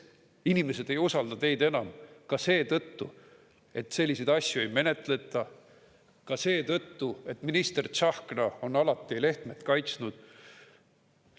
Inimesed ei usalda teid enam ka seetõttu, et selliseid asju ei menetleta, ka seetõttu, et minister Tsahkna on alati Lehtmet kaitsnud.